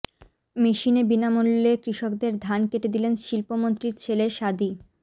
মেশিনে বিনামূল্যে কৃষকদের ধান কেটে দিলেন শিল্পমন্ত্রীর ছেলে সাদী